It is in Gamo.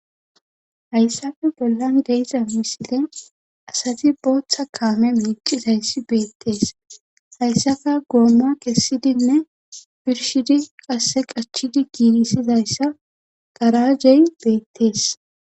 Hayssafe bollan de7iza misile asati bootha kaame meeccizayssi beettees hayssata gooma kessidinne birshidi qasse qachidi giigisidayssa garaajey beettees.